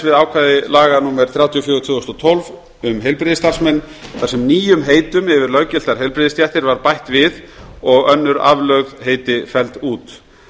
við ákvæði laga númer þrjátíu og fjögur tvö þúsund og tólf um heilbrigðisstarfsmenn þar sem nýjum heitum yfir löggiltar heilbrigðisstéttir var bætt við og önnur aflögð heiti felld út